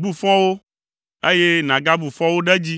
Bu fɔ wo, eye nàgabu fɔ wo ɖe edzi;